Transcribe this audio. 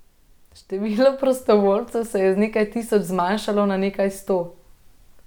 Število prostovoljcev se je z nekaj tisoč zmanjšalo na nekaj sto.